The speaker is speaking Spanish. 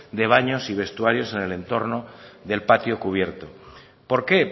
de baños y vestuarios en el entorno del patio cubierto por qué